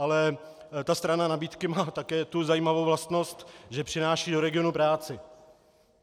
Ale ta strana nabídky má také tu zajímavou vlastnost, že přináší do regionu práci.